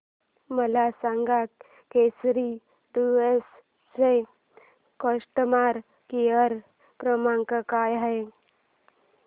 मला सांगा केसरी टूअर्स चा कस्टमर केअर क्रमांक काय आहे